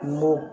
Mɔ